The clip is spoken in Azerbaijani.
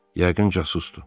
Yəqin casusdu.